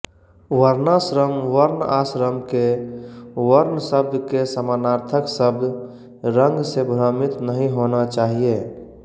वर्णाश्रम वर्ण आश्रम के वर्ण शब्द के समानार्थक शब्द रंग से भ्रमित नहीं होना चाहिए